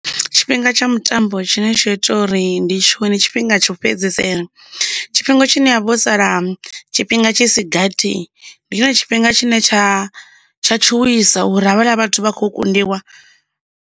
Tshifhinga tsha mutambo tshine tsho ita uri ndi tshiwane ndi tshifhinga tsho fhedzisela tshifhinga tshine ha vha ho sala tshifhinga tshi sigathi ndi tshone tshifhinga tshine tsha tshuwisa uri havhala vhathu vha khou kundiwa.